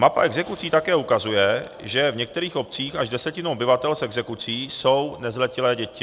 Mapa exekucí také ukazuje, že v některých obcích až desetina obyvatel s exekucí jsou nezletilé děti.